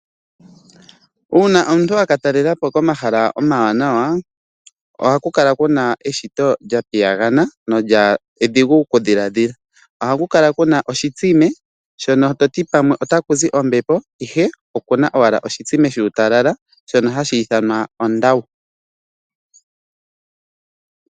Uuna omuntu a katalela po komahala omanawa ohaku kala kuna eshito lyapiyangana lyo edhingu okudhiladhila a ku kala kuna oshitsime shono toti pamwe ota kuzi ombepo ashike okuna owala oshitsime shutalala shono hashi ithanwa ondawu.